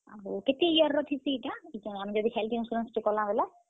କେତେ year ର ଥିସି ଇଟା। ଯଦି health insurance ଟେ କର୍ ମା ବେଲେ।